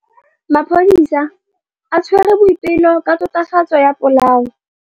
Maphodisa a tshwere Boipelo ka tatofatsô ya polaô.